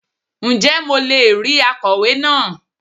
Ǹ jẹ́ mo le è rí akọ̀wé náà